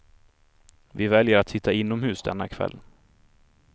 Vi väljer att sitta inomhus denna kväll.